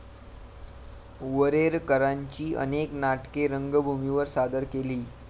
वरेरकरांची अनेक नाटके रंगभूमीवर सादर केली.